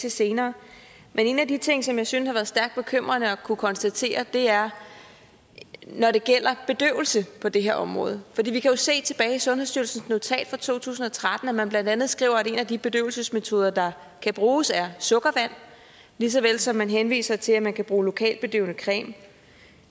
til senere men en af de ting som jeg synes har været stærkt bekymrende at kunne konstatere er når det gælder bedøvelse på det her område for vi kan jo se i sundhedsstyrelsens notat tilbage fra to tusind og tretten at man blandt andet skriver at en af de bedøvelsesmetoder der kan bruges er sukkervand lige såvel som man henviser til at man kan bruge lokalbedøvende creme